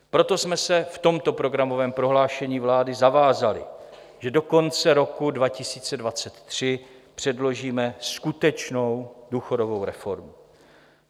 Proto jsme se v tomto programovém prohlášení vlády zavázali, že do konce roku 2023 předložíme skutečnou důchodovou reformu.